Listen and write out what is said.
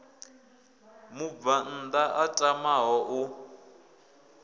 mubvann ḓa a tamaho u